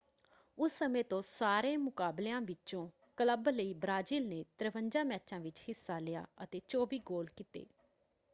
ਉਸ ਸਮੇਂ ਤੋਂ ਸਾਰੇ ਮੁਕਾਬਲਿਆਂ ਵਿੱਚੋਂ ਕਲੱਬ ਲਈ ਬ੍ਰਾਜ਼ੀਲ ਨੇ 53 ਮੈਚਾਂ ਵਿੱਚ ਹਿੱਸਾ ਲਿਆ ਅਤੇ 24 ਗੋਲ ਕੀਤੇ।